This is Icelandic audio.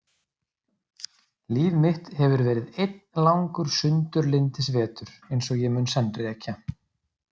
Líf mitt hefur verið einn langur sundurlyndisvetur eins og ég mun senn rekja.